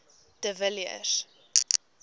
de villiers